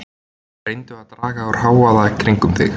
Reyndu að draga úr hávaða kringum þig.